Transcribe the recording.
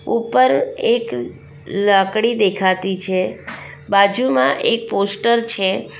ઉપર એક લાકડી દેખાતી છે બાજુમાં એક પોસ્ટર છે.